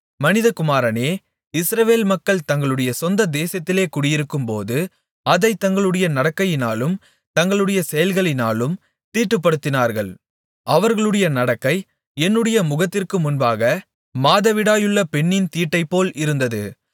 மனிதகுமாரனே இஸ்ரவேல் மக்கள் தங்களுடைய சொந்த தேசத்திலே குடியிருக்கும்போது அதைத் தங்களுடைய நடக்கையினாலும் தங்களுடைய செயல்களினாலும் தீட்டுப்படுத்தினார்கள் அவர்களுடைய நடக்கை என்னுடைய முகத்திற்கு முன்பாக மாதவிடாயுள்ள பெண்ணின் தீட்டைப்போல் இருந்தது